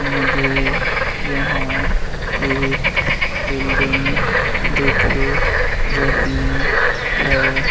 मुझे यहां एक बिल्डिंग दिख रही है।